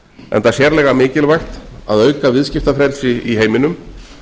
enda sérlega mikilvægt að auka viðskiptafrelsi í heiminum